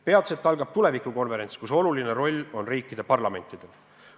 Peatselt algab tulevikukonverents, kus oluline roll on riikide parlamentidel.